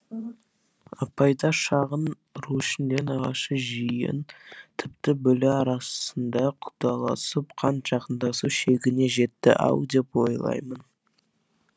апайда шағын ру ішінде нағашы жиен тіпті бөле арасында құдаласып қан жақындасу шегіне жетті ау деп ойлаймын